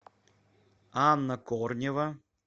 анна корнева